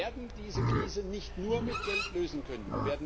Wir werden diese Krise nicht nur mit Geld lösen können.